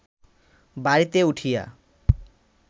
বাড়িতে উঠিয়া